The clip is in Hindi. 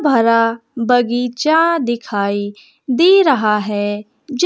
बड़ा बगीचा दिखाई दे रहा है। जे--